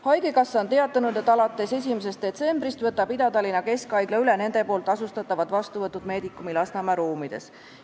Haigekassa on teatanud, et alates 1. detsembrist võtab Ida-Tallinna Keskhaigla üle nende tasustatavad vastuvõtud Medicumi Lasnamäe ruumides.